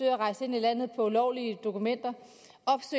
at rejse ind i landet på ulovlige dokumenter